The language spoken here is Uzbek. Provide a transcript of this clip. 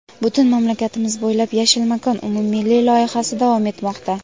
butun mamlakatimiz bo‘ylab "Yashil makon" umummilliy loyihasi davom etmoqda.